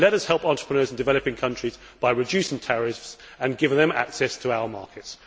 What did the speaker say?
But let us help entrepreneurs in developing countries by reducing tariffs and giving them access to our markets.